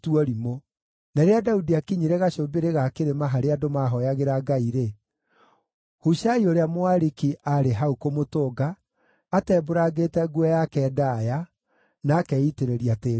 Na rĩrĩa Daudi aakinyire gacũmbĩrĩ ga kĩrĩma, harĩa andũ maahooyagĩra Ngai-rĩ, Hushai ũrĩa Mũariki aarĩ hau kũmũtũnga, atembũrangĩte nguo yake ndaaya, na akeitĩrĩria tĩĩri mũtwe.